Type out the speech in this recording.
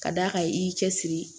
Ka d'a kan i y'i cɛ siri